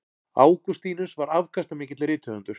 Ágústínus var afkastamikill rithöfundur.